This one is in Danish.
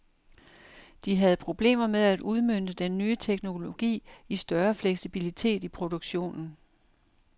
De havde problemer med at udmønte den nye teknologi i større fleksibilitet i produktionen.